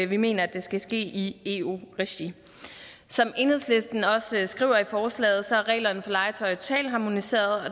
vi mener at det skal ske i eu regi som enhedslisten også skriver i forslaget er reglerne for legetøj totalharmoniseret og